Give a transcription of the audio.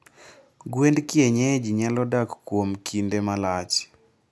Gwend Kienyeji nyalo dak kuom kinde malach.